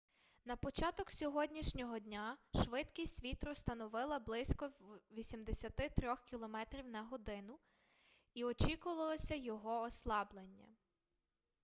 на початок сьогоднішнього дня швидкість вітру становила близько 83 км/год і очікувалося його ослаблення